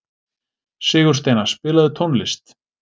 Sigursteina, spilaðu tónlist.